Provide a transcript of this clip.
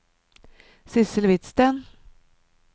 Sidsel Hvidsten